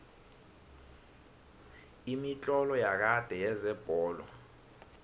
imitlolo yakade yezebholo